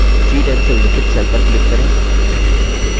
c10 से उल्लिखित cell पर click करें